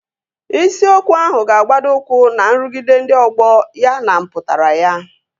Isiokwu ahụ ga-agbado ụkwụ na nrụgide ndị ọgbọ ya na mpụtara ya